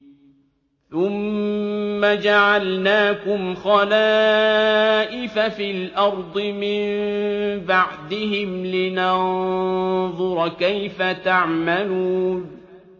ثُمَّ جَعَلْنَاكُمْ خَلَائِفَ فِي الْأَرْضِ مِن بَعْدِهِمْ لِنَنظُرَ كَيْفَ تَعْمَلُونَ